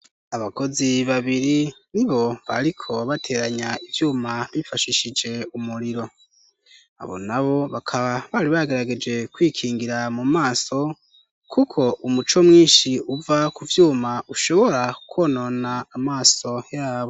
Abakozi babiri nibo bariko bateranya ivyuma bifashishije umuriro, abo nabo bakaba bari bagerageje kwikingira mu maso, kuko umuco mwinshi uva kuvyuma ushobora kwonona amaso yabo.